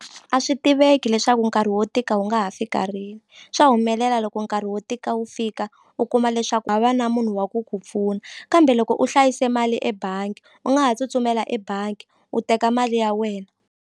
A swi tiveki leswaku nkarhi wo tika wu nga ha fika rini swa humelela loko nkarhi wo tika wu fika u kuma leswaku hava na munhu wa ku ku pfuna kambe loko u hlayise mali ebangi u nga ha tsutsumela ebangi u teka mali ya wena.